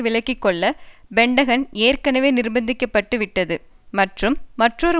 விலக்கி கொள்ள பென்டகன் ஏற்கனவே நிர்பந்திக்கப்பட்டுவிட்டது மற்றும் மற்றொரு